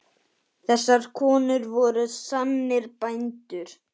Þessar konur voru sannir bændur.